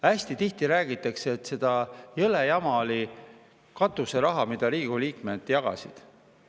Hästi tihti räägitakse, et jõle jama oli katuserahaga, mida Riigikogu liikmed jagasid.